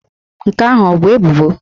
Nke ahụ ọ bụ ebubo?